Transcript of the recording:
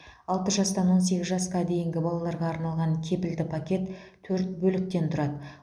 алты жастан он сегіз жасқа дейінгі балаларға арналған кепілді пакет төрт бөліктен тұрады